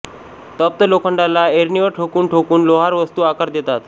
तप्त लोखंडाला ऐरणीवर ठोकून ठोकून लोहार वस्तूस आकार देतात